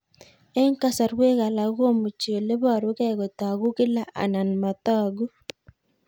Eng' kasarwek alak komuchi ole parukei kotag'u kila anan matag'u